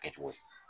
Kɛ cogo ye